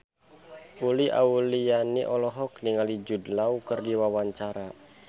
Uli Auliani olohok ningali Jude Law keur diwawancara